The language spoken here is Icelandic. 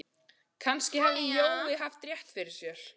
Kannski hafði Jói haft rétt fyrir sér.